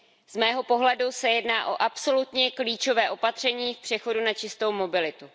Z mého pohledu se jedná o absolutně klíčové opatření v přechodu na čistou mobilitu.